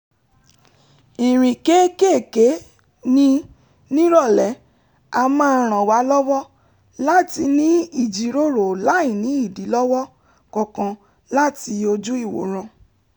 ìrìn kéékèèkéé ní nírọ̀lẹ́ a máa ràn wá lọ́wọ́ láti ní ìjíròrò láìní ìdílọ́wọ́ kankan láti ojú-ìwòran